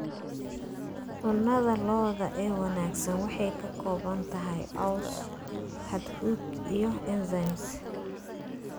Cunnada lo'da ee wanaagsan waxay ka kooban tahay caws, hadhuudh, iyo enzymes.